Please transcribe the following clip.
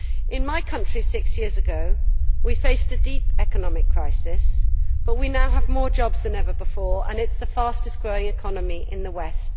In my country six years ago we faced a deep economic crisis, but we now have more jobs than ever before and it is the fastest growing economy in the West.